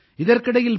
இதற்கிடையில் பி